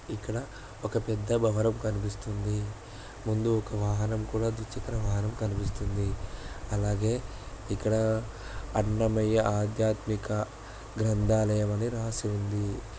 ఇక్కడ ఒక పెద్ద భవనం కనిపిస్తోంది ముందు ఒక వాహనం కూడా ద్విచక్ర వాహనం కనిపిస్తోంది అలాగే ఇక్కడ అన్నమయ్య ఆద్య ఆధ్యాత్మిక గ్రంథాలయం అని రాసి ఉంది.